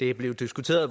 det er blevet diskuteret